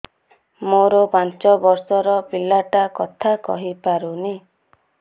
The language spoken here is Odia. ମୋର ପାଞ୍ଚ ଵର୍ଷ ର ପିଲା ଟା କଥା କହି ପାରୁନି